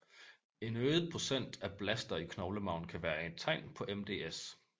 En øget procent af blaster i knoglemarven kan være et tegn på MDS